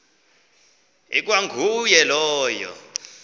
ikwa nguye lowo